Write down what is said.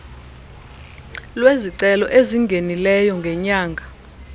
lwezicelo ezingenileyo ngenyanga